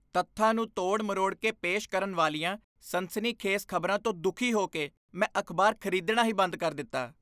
ਤੱਥਾਂ ਨੂੰ ਤੋੜ ਮਰੋੜ ਕੇ ਪੇਸ਼ ਕਰਨ ਵਾਲੀਆਂ ਸਨਸਨੀਖੇਜ਼ ਖ਼ਬਰਾਂ ਤੋਂ ਦੁਖੀ ਹੋ ਕੇ ਮੈਂ ਅਖ਼ਬਾਰ ਖਰੀਦਣਾ ਹੀ ਬੰਦ ਕਰ ਦਿੱਤਾ।